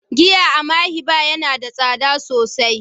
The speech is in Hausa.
giya a "Mayhi bar" Yana da sada sosai.